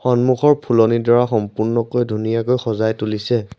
সন্মুখৰ ফুলনিডৰা সম্পূৰ্ণকৈ ধুনীয়াকৈ সজাই তুলিছে।